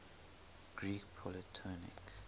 greek polytonic